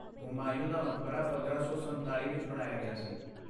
ਹੁਮਾਯੂੰ ਦਾ ਮਕਬਰਾ ਪੰਦਰਾਂ ਸੌ ਸੰਤਾਲ਼ੀ ਵਿੱਚ ਬਣਾਇਆ ਗਿਆ ਸੀ